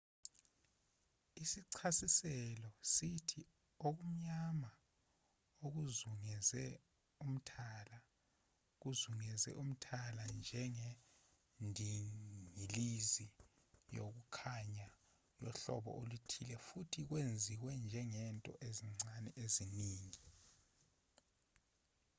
isichasiselo sithi okumnyama okuzungeze umthala kuzungeze umthala njengendingilizi yokukhanya yohlobo oluthile futhi kwenziwe ngezinto ezincane eziningi